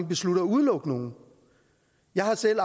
beslutter at udelukke nogen jeg har selv